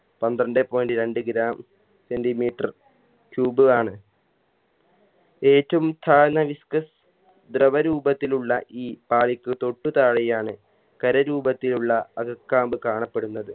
പന്ത്രണ്ടേ point രണ്ട് gram centimeter cube ആണ് ഏറ്റും താഴ്ന്ന disk ദ്രവ രൂപത്തിലുള്ള ഈ പാളിക്ക് തൊട്ടു താഴെയാണ് ഖര രൂപത്തിലുള്ള അകക്കാമ്പ് കാണപ്പെടുന്നത്